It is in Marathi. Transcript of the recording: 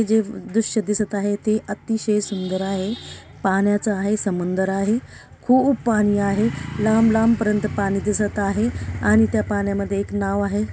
जे दृश्य दिसत आहे ते अतिशय सुंदर आहे पाण्याच आहे समुदर आहे खूप पाणी आहे लांब लांब पर्यन्त पाणी दिसत आहे आणि त्या पाण्यामध्ये एक नाव आहे.